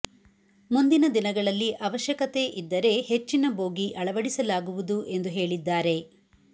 ಮುಂದಿನ ದಿನಗಳಲ್ಲಿ ಅವಶ್ಯಕತೆ ಇದ್ದರೆ ಹೆಚ್ಚಿನ ಬೋಗಿ ಅಳವಡಿಸಲಾಗುವುದು ಎಂದು ಹೇಳಿದ್ದಾರೆ